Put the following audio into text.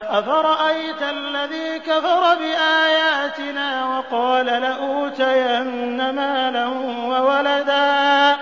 أَفَرَأَيْتَ الَّذِي كَفَرَ بِآيَاتِنَا وَقَالَ لَأُوتَيَنَّ مَالًا وَوَلَدًا